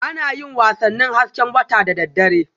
Ana yin wasannin hasken wata da daddare